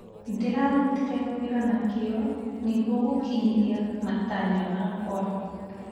Ndĩrarutire wĩra na kĩo nĩguo gũkinyĩra matanya makwa.